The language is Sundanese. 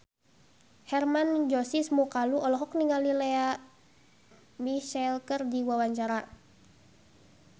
Hermann Josis Mokalu olohok ningali Lea Michele keur diwawancara